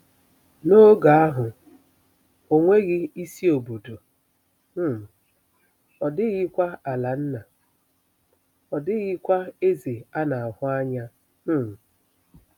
N'oge ahụ, o nweghị isi obodo, um ọ dịghịkwa ala nna, ọ dịghịkwa eze a na-ahụ anya. um